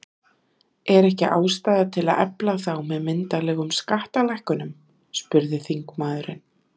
Er ekki ástæða til að efla þá með myndarlegum skattalækkunum? spurði þingmaðurinn.